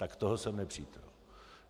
Tak toho jsem nepřítel.